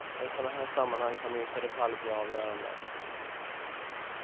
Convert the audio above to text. Och i sådana här sammanhang kan minsta detalj bli avgörande.